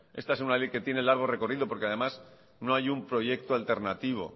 esta es una ley que tiene largo recorrido porque además no hay un proyecto alternativo